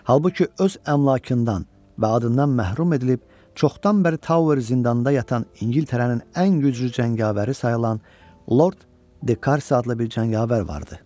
Halbuki öz əmlakından və adından məhrum edilib çoxdan bəri Tower zindanında yatan İngiltərənin ən güclü cəngavəri sayılan Lord de Karsi adlı bir cəngavər vardı.